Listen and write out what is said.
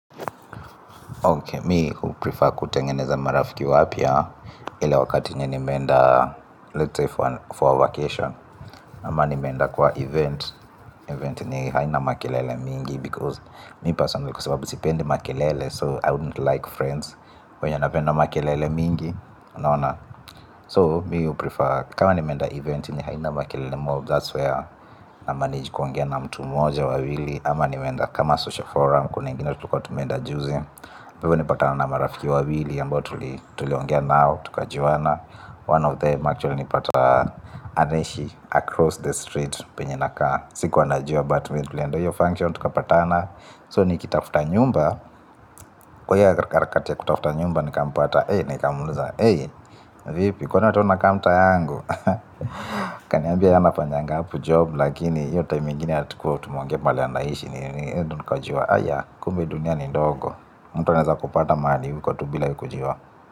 Okay, me huprefer kutengeneza marafiki wapya, ile wakati yenye nimeenda, let's say for a vacation, ama nimeenda kwa event, event yenye haina makelele mingi, because mi personaly kwa sababu sipendi makelele, so I wouldn't like friends, wenye anapenda makelele mingi, unaona? So mi huprefer. Kama nimenda event yenye haina makele mob That's where na manage kuongea na mtu moja wawili. Ama nimeenda kama social forum. Kuna ingina tulikuwa tumeenda juzi pale nilipatana na marafiki wawili ambao tuliongea nao. Tukajuana One of them actually nimepata anaishi across the streets. Penye nakaa. Sikuanajua but vilei tulienda hiyo function. Tuka patana So nikitafuta nyumba kwa hiyo harakati ya kutafuta nyumba nikampata hei nikamuliza. Hei. Vipi? Kwani wepia unakaa mtaa yangu? Akaniambia ye anafanyanga hapo job, lakini hio time ingine hatukua tumeonge mahali anaishi nini nini eh nikajuwa. Aya, kumbe dunia ni ndogo. Mtu anaweza kupata mahali huko tu bila we kujiwa.